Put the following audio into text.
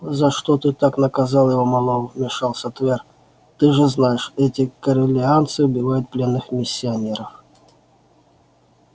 за что ты так наказал его мэллоу вмешался твер ты же знаешь эти корелианцы убивают пленных миссионеров